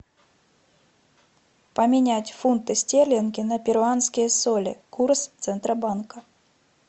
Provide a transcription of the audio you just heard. поменять фунты стерлинги на перуанские соли курс центробанка